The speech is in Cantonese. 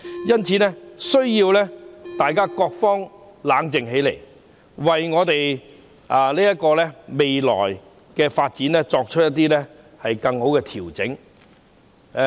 因此，各方必須冷靜下來，為香港的未來發展作出更好的調整。